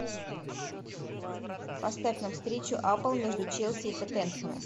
поставь нам встречу апл между челси и тоттенхэмом